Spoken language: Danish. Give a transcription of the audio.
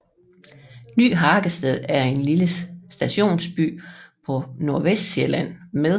Ny Hagested er en lille stationsby på Nordvestsjælland med